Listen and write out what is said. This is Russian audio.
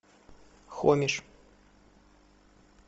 хомиш